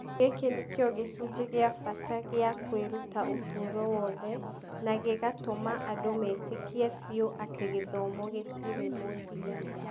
Gĩkĩ nĩ kĩo gĩcunjĩ kĩa bata gĩa kwĩruta ũtũũro wothe, na gĩgatũma andũ metĩkie biũ atĩ gĩthomo gĩtirĩ mũthia.